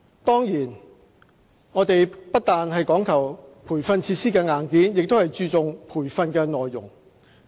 當然，我們不但講求培訓設施的硬件，亦注重培訓的內容。